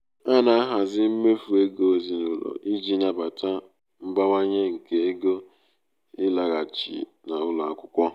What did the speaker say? a na-ahazi mmefu ego ezinụlọ iji nabata um mbawanye nke ego ịlaghachi n'ụlọ akwụkwọ.